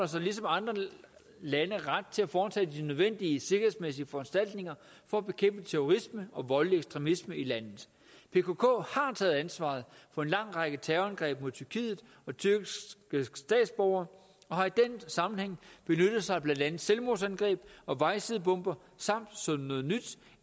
sig ligesom andre lande ret til at foretage de nødvendige sikkerhedsmæssige foranstaltninger for at bekæmpe terrorisme og voldelig ekstremisme i landet pkk har taget ansvaret for en lang række terrorangreb mod tyrkiet og tyrkiske statsborgere og har i den sammenhæng benyttet sig af blandt andet selvmordsangreb og vejsidebomber samt som noget nyt